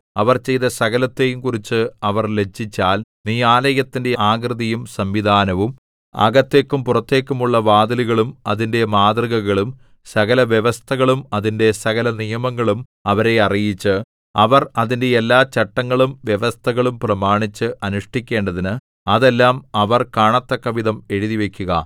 അവർ ചെയ്ത സകലത്തെയുംകുറിച്ച് അവർ ലജ്ജിച്ചാൽ നീ ആലയത്തിന്റെ ആകൃതിയും സംവിധാനവും അകത്തേക്കും പുറത്തേക്കുമുള്ള വാതിലുകളും അതിന്റെ മാതൃകകളും സകലവ്യവസ്ഥകളും അതിന്റെ സകലനിയമങ്ങളും അവരെ അറിയിച്ച് അവർ അതിന്റെ എല്ലാ ചട്ടങ്ങളും വ്യവസ്ഥകളും പ്രമാണിച്ച് അനുഷ്ഠിക്കേണ്ടതിന് അതെല്ലാം അവർ കാണതക്കവിധം എഴുതിവയ്ക്കുക